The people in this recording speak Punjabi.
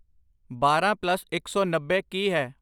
ਬਾਰਾਂ ਪਲੱਸ ਇੱਕ ਸੌ ਨੱਬੇ ਕੀ ਹੈ